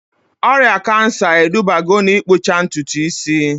Ọrịa kansa edubago na-ikpụcha ntutu isi